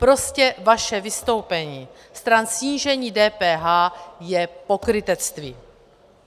Prostě vaše vystoupení stran snížení DPH je pokrytectví.